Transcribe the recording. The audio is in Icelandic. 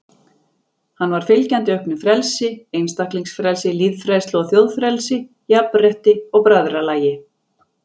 Hann var fylgjandi auknu frelsi, einstaklingsfrelsi, lýðfrelsi og þjóðfrelsi, jafnrétti og bræðralagi.